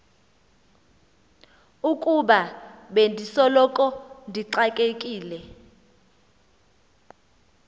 ukuba bendisoloko ndixakekile